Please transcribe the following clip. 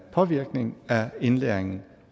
påvirkning af indlæringen